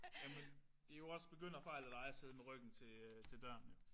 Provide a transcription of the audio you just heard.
Jamen det jo også begynderfejl af dig at sidde med ryggen til til døren jo